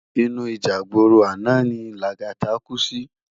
Inú íjà igbóró àná ni Lagata kú si